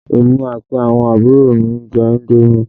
Èmi àti àwọn àbúrò mi ń jẹ indomi